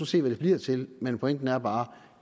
se hvad det bliver til men pointen er bare